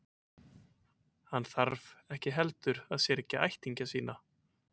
Og hann þarf ekki heldur að syrgja ættingja sína.